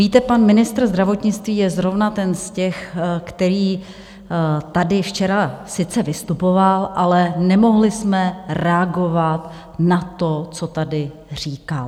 Víte pan ministr zdravotnictví je zrovna ten z těch, který tady včera sice vystupoval, ale nemohli jsme reagovat na to, co tady říkal.